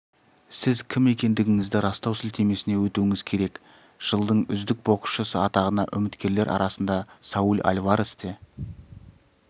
сіз кім екендігіңізді растау сілтемесіне өтуіңіз керек жылдың үздік боксшысы атағына үміткерлер арасында сауль альварес те